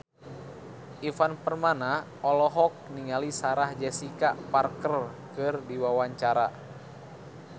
Ivan Permana olohok ningali Sarah Jessica Parker keur diwawancara